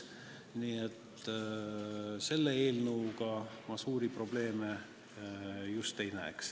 Nii et selle eelnõu puhul ma suuri probleeme ei näe.